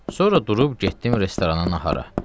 Sonra durub getdim restorana nahara.